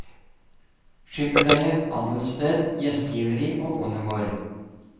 Skipperleie, handelssted, gjestgiveri og bondegård.